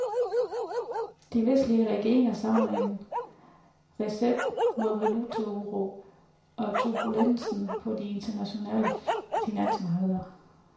De vestlige regeringer savner en recept mod valutauro og turbulensen på de internationale finansmarkeder.